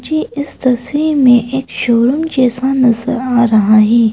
मुझे इस तस्वीर में एक शोरूम जैसा नजर आ रहा है।